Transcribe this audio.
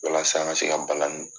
Walasa n ka se ka balani